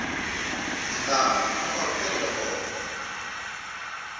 na kumbe mampfampfarhutelo ya kona